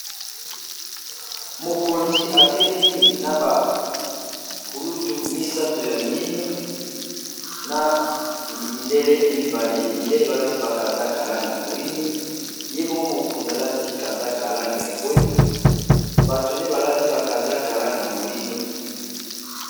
Mokonzi atelemi na ba kulutu misato ya miindo, na mindele mibale mindele balati bakazaka langa moindo, ye moko mokonzi alati kazaka langa ya bwe, batone balati bakazaka langa moindo.